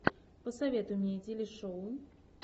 посоветуй мне телешоу